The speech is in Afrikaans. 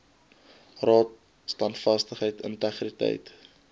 raad standvastigheid integriteit